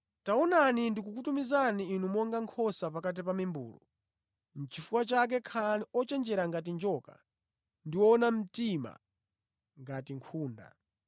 “Taonani ndikukutumizani inu monga nkhosa pakati pa mimbulu. Chifukwa chake khalani ochenjera ngati njoka ndi woona mtima ngati nkhunda.